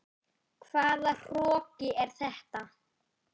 Hvaða hroki er þetta?